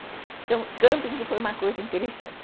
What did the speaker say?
Então, camping foi uma coisa interessante.